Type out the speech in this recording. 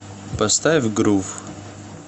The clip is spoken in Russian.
поставь грув